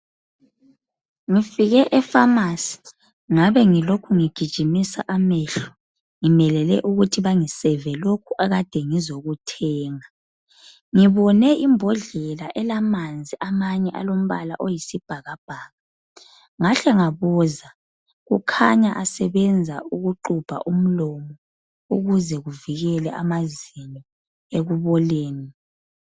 Ngifike epharmacy. Ngabe ngilokhu ngigijimisa amehlo. Ngimelele ukuthi bangiserve lokho engikade ngizokuthenga. Ngibone imbodlela elamanzi amanye alombala oyisibhakabhaka. Ngahle ngabuza. Kukhanya asebenza ukuxubha umlomo, ukuze kuvikele amazinyo ekuboleni.